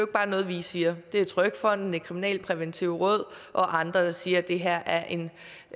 bare noget vi siger det er trygfonden det kriminalpræventive råd og andre der siger at det her er en